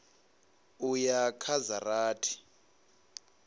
u ya kha dza rathi